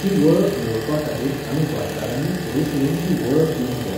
ती वळख मेळोवपा खातीर आमी गोंयकारानी फुडें सरून ती वळख दिवूंक जाय.